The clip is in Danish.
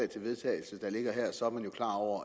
til vedtagelse der ligger her så er man jo klar over